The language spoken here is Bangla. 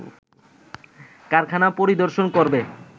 কারখানা পরিবদর্শন করবে